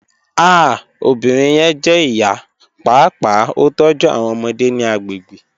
Ah obinrin yẹn jẹ iya, paapaa o tọju awọn ọmọde ni agbegbe